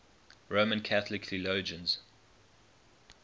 roman catholic theologians